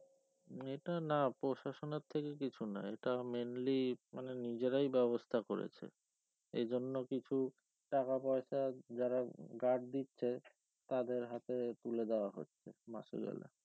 এটা না প্রশাসন এর থেকে কিছু না এটা mainly মানে নিজেরাই ব্যবস্থা করেছে এই জন্য কিছু টাকাপয়সা যারা guard দিচ্ছে তাদের হাতে তুলে দেওয়া হচ্ছে মাস গেলে